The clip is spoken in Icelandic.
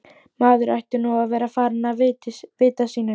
Maður ætti nú að vera farinn að vita sínu viti.